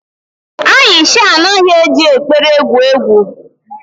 Aisha anaghị eji ekpere egwu egwu.